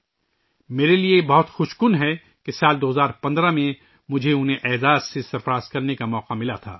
یہ میرے لئے بہت خوش قسمتی کی بات ہے کہ سال 2015 ء میں مجھے ان کی عزت افزائی کا موقع ملا